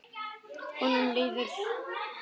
Honum líður vel.